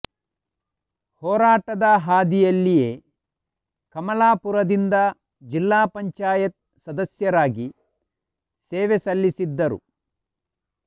ಹೋರಾಟದ ಹಾದಿಯಲ್ಲಿಯೇ ಕಮಲಾಪುರದಿಂದ ಜಿಲ್ಲಾ ಪಂಚಾಯತ್ ಸದಸ್ಯರಾಗಿ ಸೇವೆ ಸಲ್ಲಿಸಿದ್ದರು